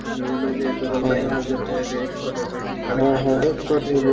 দুই হলো এইযে তোর export এর এই